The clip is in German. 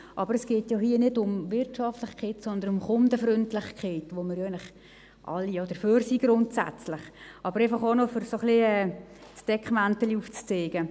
Aber hier geht es ja nicht um Wirtschaftlichkeit, sondern um Kundenfreundlichkeit, für die wir ja alle grundsätzlich sind – dies einfach, um ein wenig das Deckmäntelchen aufzuzeigen.